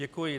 Děkuji.